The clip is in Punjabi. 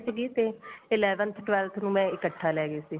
ਸੀਗੀ ਤੇ eleventh twelfth ਨੂੰ ਮੈਂ ਇੱਕਠਾ ਲੈ ਗਈ ਸੀ